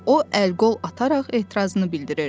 O əl-qol ataraq etirazını bildirdi.